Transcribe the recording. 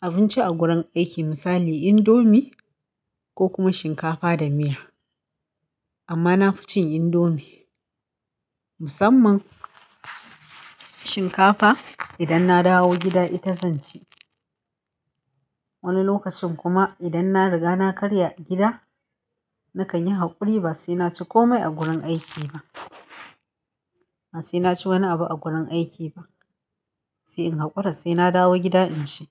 abinci a gurin aiki misali indomie ko kuma shinkafa da miya. Amma na fi cin indomie. Musamman shinkafa idan na dawo gida ita zan ci. Wani lokacin kuma idan na riga na karya gida, nakan yi haƙuri ba sai na ci komai a gurin aiki ba. Ba sai na ci wani abu a gurin aiki ba. Sai in haƙura, sai na dawo gida in ci.